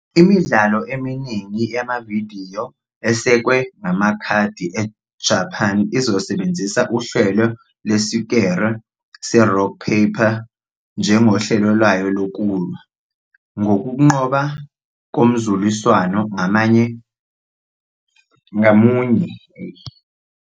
Imidlalo eminingi yamavidiyo esekwe ngamakhadi eJapan isebenzisa uhlelo lwesikere se-rock paper njengohlelo lwayo lokulwa, ngokunqoba komzuliswano ngamunye ukwazi ukwenza ukuhlasela kwabo okuqokiwe.